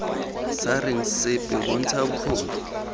sa reng sepe bontsha bokgoni